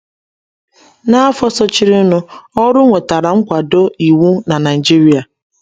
N’afọ sochirinụ, ọrụ nwetara nkwado iwu na Naijiria